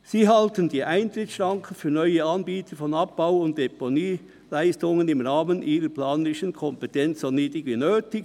Sie halten die Eintrittsschranken für neue Anbieter von Abbau- und Deponieleistungen im Rahmen ihrer planerischen Kompetenzen so niedrig wie möglich.